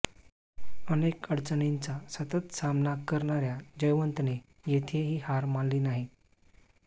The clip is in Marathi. अनेक अडचणींचा सतत सामना करणाऱया जयवंतने येथेही हार मानली नाही